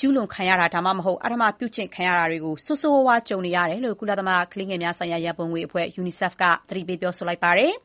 ကျူးလွန်ခံရတာ ဒါမှမဟုတ် အဓမ္မပြုကျင့် ခံရတာတွေကို ဆိုးဆိုးရွားရွား ကြုံနေရတယ်လို့ ကုလသမဂ္ဂ ကလေးများရန်ပုံငွေအဖွဲ့ UNICEF က သတိပေး ပြောဆိုလိုက်ပါတယ်။